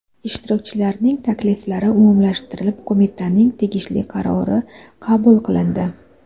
Ishtirokchilarning takliflari umumlashtirilib, qo‘mitaning tegishli qarori qabul qilindi.